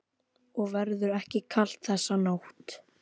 Og verður ekki kalt þessa nótt.